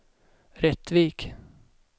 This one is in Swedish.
Rättvik